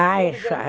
Ah, isso.